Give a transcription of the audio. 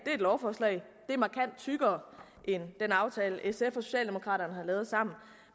er et lovforslag og tykkere end den aftale sf og socialdemokraterne har lavet sammen